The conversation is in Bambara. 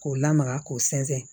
K'o lamaga k'o sɛnsɛn